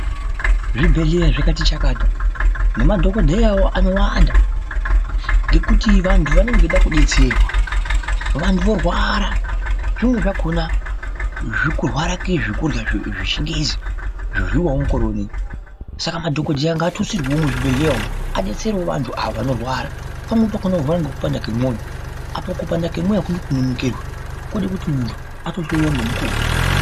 Zvibhedhleya zvikati chakata, nemadhokodheyawo anowanda ngekuti vantu vanenge veida kudetserwa. Vantu vorwara, zvimweni zvakona zvekurwara kezvekurya zveChiNgezi zvoryiwawo mukore uno. Saka madhokodheya ngaatutsirwewo muzvibhedhleya umu. Abetserewo vantu ava vanorwara. Pamweni pakona vanorwara ngekupanda kemwoyo. Apa kupanda kemwoyo hakudi kuti kunonokerwe. Kunode kuti muntu atohloyiwa ngemukuwo.